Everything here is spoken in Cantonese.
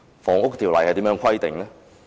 《房屋條例》是如何規定的？